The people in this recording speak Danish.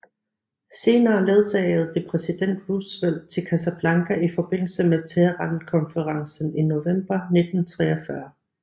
Senere ledsagede det præsident Roosevelt til Casablanca i forbindelse med Teherankonferencen i november 1943